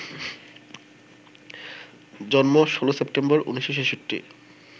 জন্ম ১৬ সেপ্টেম্বর, ১৯৬৬